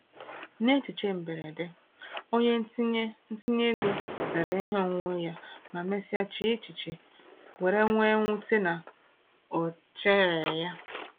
N’echiche mberede, onye ntinye ntinye ego rere ihe onwunwe ya ma mesịa chee echiche were nwee mwute na ọ chereghị.